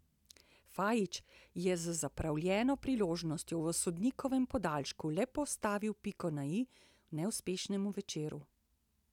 Fajić je z zapravljeno priložnostjo v sodnikovem podaljšku le postavil piko na i neuspešnemu večeru.